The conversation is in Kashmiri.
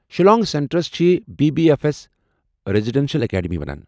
شیلانگٕ سینٹرس چھ B B F S residential academy ونان ۔